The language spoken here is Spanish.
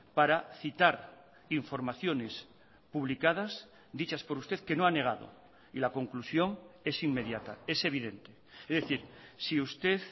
para citar informaciones publicadas dichas por usted que no ha negado y la conclusión es inmediata es evidente es decir si usted